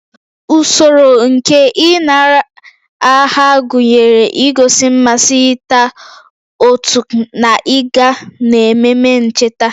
Usoro nke ịnara aha gụnyere igosi mmasị, ịta oat na ịga n'ememe ncheta